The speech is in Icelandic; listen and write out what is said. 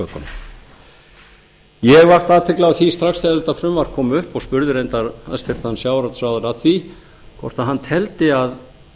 götunum eg vakti athygli á því strax þegar þetta frumvarp kom upp og spurði reyndar hæstvirtur sjávarútvegsráðherra að því hvort hann teldi að